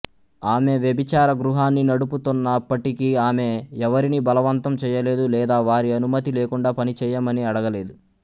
ఆమె వ్యభిచార గృహాన్ని నడుపుతున్నప్పటికీఆమె ఎవరినీ బలవంతం చేయలేదు లేదా వారి అనుమతి లేకుండా పని చేయమని అడగలేదు